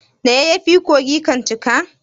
Da yayyafi kogi kan cika.